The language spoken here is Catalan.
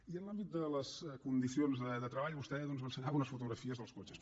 i en l’àmbit de les condicions de treball vostè doncs m’ensenyava unes fotografies dels cotxes